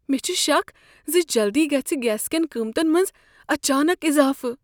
مےٚ چھ شک ز جلدی گژھِہ گیس کین قیمتن منز اچانک اضافہٕ ۔